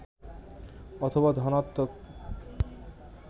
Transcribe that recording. অথবা ধনাত্নক